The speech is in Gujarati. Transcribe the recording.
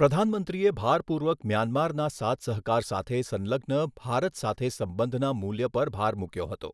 પ્રધાનમંત્રીએ ભારપૂર્વક મ્યાન્મારના સાથસહકાર સાથે સંલગ્ન ભારત સાથે સંબંધના મૂલ્ય પર ભાર મૂક્યો હતો,